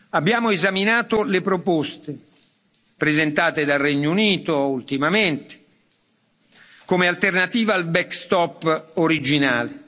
Abbiamo esaminato le proposte presentate dal Regno Unito ultimamente, come alternativa al back stop originale.